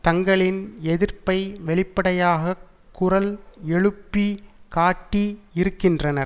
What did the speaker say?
தங்களின் எதிர்ப்பை வெளிப்படையாக குரல் எழுப்பி காட்டி இருக்கின்றனர்